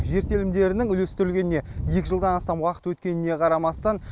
жер телімдерінің үйлестірілгеніне екі жылдан астам уақыт өткеніне қарамастан